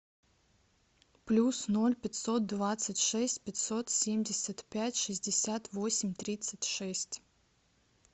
плюс ноль пятьсот двадцать шесть пятьсот семьдесят пять шестьдесят восемь тридцать шесть